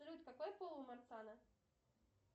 салют какой пол у марцана